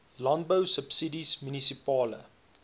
landbou subsidies munisipale